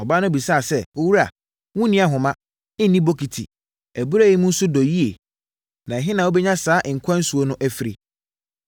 Ɔbaa no bisaa sɛ, “Owura, wonni ahoma, nni bokiti, abura yi mu nso dɔ yie, na ɛhe na wobɛnya saa nkwa nsuo no afiri?